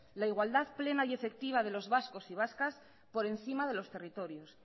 la igualdad plena y efectiva de los vascos y vascas por encima de los territorios